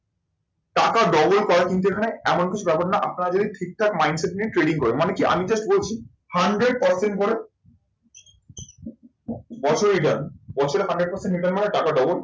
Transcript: টাকা double করা কিন্তু এখানে এমন কিছু ব্যাপার না, আপনারা যদি ঠিকঠাক mind set নিয়ে trading করেন। মানে কি? আমি just বলছি, hundred percent করে বছরেই দেন। বছরে hundred percent return মানে টাকা double